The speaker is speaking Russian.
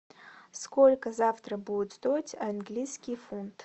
сколько завтра будет стоить английский фунт